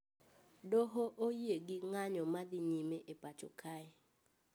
Doho oyie gi ng`anyo madhi nyime e pacho kae